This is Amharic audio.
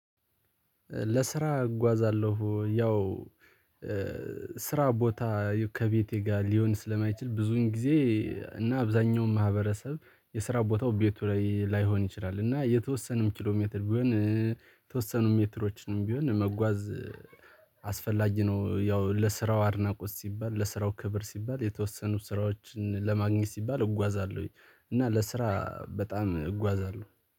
ለስራ እጓዛለሁ ያው ስራ ቦታ ከቤቴ ጋር ሊሆን ስለማይችል ብዙን ጊዜ። እና አብዛኛው ማህበረሰብ የስራ ቦታው ቤቱ ላይ ላይሆን ይችላል እና የተወሰነም ኪሎ ሜትር ቢሆን የተወሰኑ ሜትሮችንም ቢሆን መጓዝ አስፈላጊ ነው። ያው ለስራው አድናቆት ሲባል ለስራው ክብር ሲባል የተወሰኑ ስራዎችን ለማግኘት ሲባል እጓዛለሁ እና ለስራ በጣም እጓዛለሁ